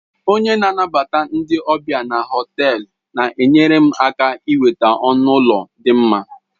Onye na-anabata ndị ọbịa na họtelu na-enyere m aka inweta ọnụ ụlọ dị mma